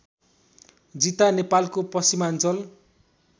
जिता नेपालको पश्चिमाञ्चल